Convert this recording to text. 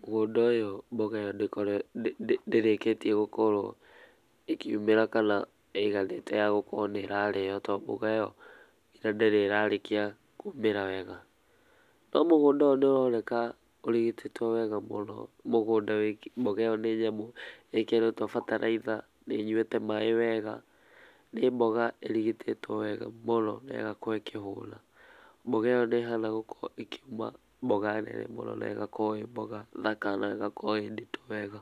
,mũgũnda ũyũ mboga ĩyo ndĩ ndĩrĩkĩtie gũkorwo ĩkiũmĩra kana ĩiganĩte ya gũkorwo ĩ yakũrĩo to mbũga ĩyo ndĩ rĩ ĩrarĩkia kũmĩra wega, no mũgũnda ũyũ nĩ ũroneka ũrigitĩtwo wega mũno mũgũnda mbũga iyo nĩ nyamũ ĩkĩrĩtwo bataraitha ,nĩ ĩnyũĩte maĩ wega nĩ mbũga ĩrigitĩtwo wega mũno na ĩgagĩkorwo ĩkĩhũna mbũga ĩyo nĩ ĩhana gũkorwo ĩkiũma mbũga nene mũno ne ĩgakorwo ĩ mbũga thaka na ĩgakorwo ĩ ndĩtũ wega.